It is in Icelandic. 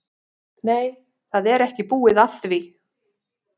Nei, það er ekki búið að því.